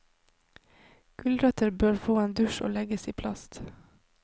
Gulrøtter bør få en dusj og legges i plast.